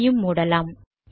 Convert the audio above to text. இதையும் மூடலாம்